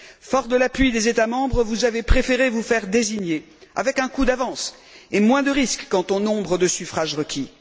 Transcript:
Fort de l'appui des États membres, vous avez préféré vous faire désigner avec un coup d'avance et moins de risque quant au nombre de suffrages requis.